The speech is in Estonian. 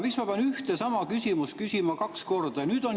Miks ma pean ühte ja sama küsimust küsima kaks korda?